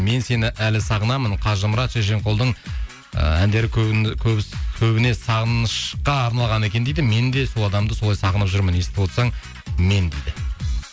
мен сені әлі сағынамын қажымұрат шешенқұлдың ы әндері көбіне сағынышқа арналған екен дейді мен де сол адамды солай сағынып жүрмін естіп отырсаң мен дейді